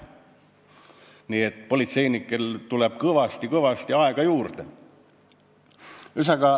Nii et politseinikel tuleb kõvasti-kõvasti aega juurde.